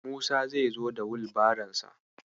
Musa zai zo da Wilbaronsa.